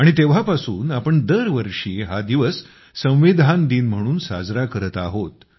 आणि तेव्हापासून आपण दरवर्षी हा दिवस संविधान दिन म्हणून साजरा करत आहोत